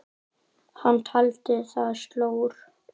Hann taldi það slór.